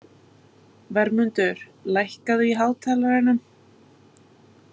Vermundur, lækkaðu í hátalaranum.